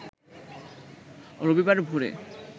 রবিবার ভোরে